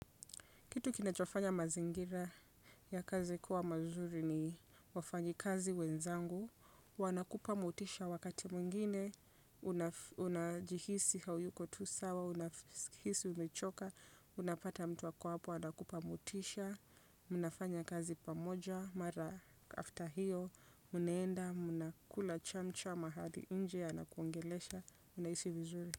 Kitu kinachofanya mazingira ya kazi kuwa mazuri ni wafanyakazi wenzangu. Wanakupa motisha, wakati mwingine unajihisi hauko tu sawa, unajihisi umechoka. Unapata mtu ako hapo anakupa motisha. Unafanya kazi pamoja. Mara after hiyo, unaenda, mnakula chamcha mahali nje, anakuongelesha, unahisi vizuri.